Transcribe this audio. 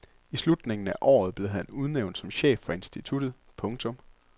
I slutningen af året blev han udnævnt som chef for instituttet. punktum